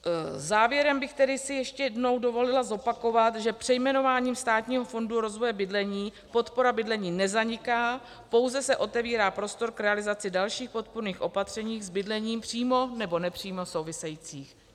Závěrem bych si tedy ještě jednou dovolila zopakovat, že přejmenováním Státního fondu rozvoje bydlení podpora bydlení nezaniká, pouze se otevírá prostor k realizaci dalších podpůrných opatření s bydlením přímo nebo nepřímo souvisejících.